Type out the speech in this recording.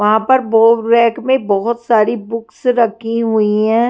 वहाँ पर बो रैक में बहुत सारी बुक्स रखी हुई है।